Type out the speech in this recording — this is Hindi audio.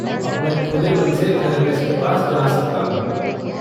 अब मैं खुले मन से थेरपिस्ट के पास जा सकता हूँ।